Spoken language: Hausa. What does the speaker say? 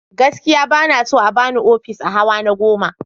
Gaskiya ba na so a ba ni ofis a hawa na goma.